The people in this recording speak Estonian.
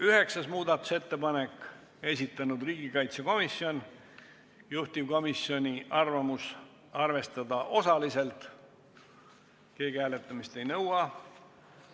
9. muudatusettepaneku on esitanud riigikaitsekomisjon ja juhtivkomisjoni ettepanek on arvestada seda osaliselt, keegi hääletamist ei nõua.